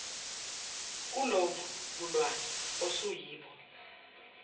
kulobu bulwane osuyibo